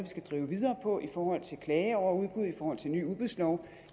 skal drive videre på i forhold til klage over udbud i forhold til ny udbudslov